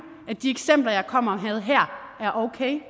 at de eksempler jeg kommer med her er okay